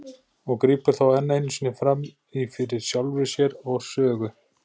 og grípur þá enn einu sinni fram í fyrir sjálfri sér og sögu.